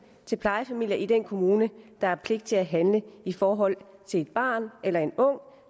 til plejefamilier i den kommune der har pligt til at handle i forhold til et barn eller en ung